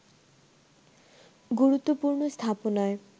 গুরুত্বপূর্ণ স্থাপনায়